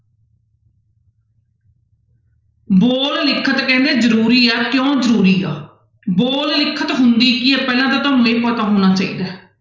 ਬੋਲ ਲਿਖਤ ਕਹਿੰਦੇ ਜ਼ਰੂਰੀ ਆ ਕਿਉਂ ਜ਼ਰੂਰੀ ਆ, ਬੋਲ ਲਿਖਤ ਹੁੰਦੀ ਕੀ ਹੈ ਪਹਿਲਾਂ ਤਾਂ ਤੁਹਾਨੂੰ ਇਹ ਪਤਾ ਹੋਣਾ ਚਾਹੀਦਾ ਹੈ।